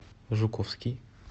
жуковский